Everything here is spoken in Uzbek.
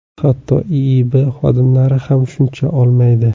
Hatto IIB xodimlari ham shuncha olmaydi.